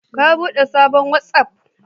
Ka bude sabon watsaf